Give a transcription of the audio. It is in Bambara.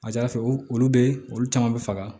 A ka ca ala fɛ olu be olu caman be faga